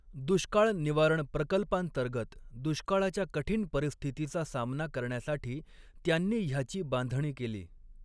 दुष्काळ निवारण प्रकल्पांतर्गत दुष्काळाच्या कठीण परिस्थितीचा सामना करण्यासाठी त्यांनी ह्याची बांधणी केली.